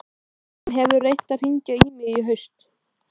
Hún hefur reynt að hringja í mig í haust.